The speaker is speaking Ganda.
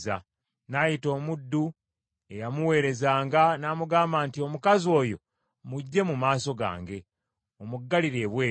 N’ayita omuddu ey’amuweerezanga n’amugamba nti, “Omukazi oyo muggye mu maaso gange, omuggalire ebweru.”